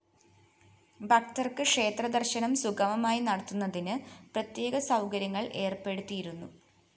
ഭക്തര്‍ക്ക് ക്ഷേത്ര ദര്‍ശനം സുഗമമായി നടത്തുന്നതിന് പ്രത്യേക സൗകര്യങ്ങള്‍ ഏര്‍പ്പെടുത്തിയിരുന്നു